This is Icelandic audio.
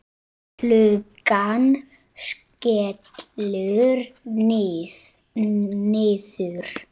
Flugan skellur niður.